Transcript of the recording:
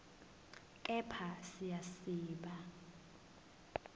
kepha siya siba